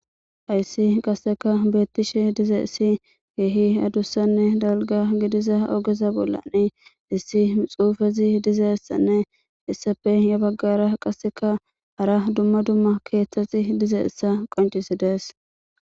Hayssi qasseka beettishe dizeessi keehi adussanne dalga gidiza ogeza bollani issi xuufezi dizeessanne issafe ya baggara qasseka hara dumma dumma keeththaxi dizeessa qoncisi dees.